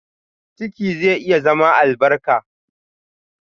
Ciki zai iya zama albarka.